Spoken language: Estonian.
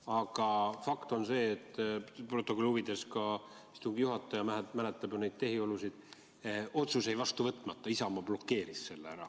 Aga fakt on see, protokolli huvides, ka istungi juhataja mäletab neid tehiolusid, et otsus jäi vastu võtmata, Isamaa blokeeris selle.